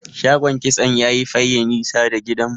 shagon kitso yayi Faye nisa da gidan mu